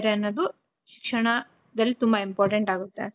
ವಹಿಸ್ತಾರೆ ಅನ್ನೋದು ಕ್ಷಣದಲ್ಲಿ ತುಂಬ important ಆಗುತ್ತೆ.